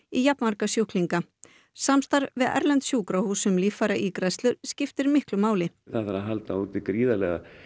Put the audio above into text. í jafnmarga sjúklinga samstarf við erlend sjúkrahús um líffæraígræðslur skiptir miklu máli það þarf að halda úti gríðarlega